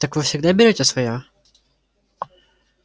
так вы всегда берёте своё